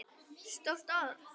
Stórt orð.